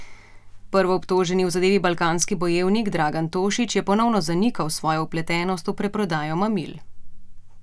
Prvoobtoženi v zadevi Balkanski bojevnik Dragan Tošić je ponovno zanikal svojo vpletenost v preprodajo mamil.